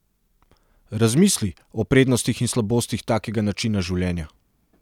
Razmisli, o prednostih in slabostih takega načina življenja.